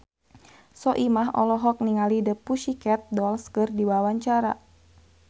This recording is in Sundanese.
Soimah olohok ningali The Pussycat Dolls keur diwawancara